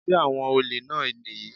Sé àwọn olè náà nìyí?